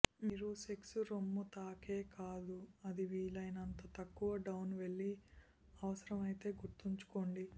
మీరు సెక్స్ రొమ్ము తాకే కాదు అది వీలైనంత తక్కువ డౌన్ వెళ్ళి అవసరం అయితే గుర్తుంచుకోండి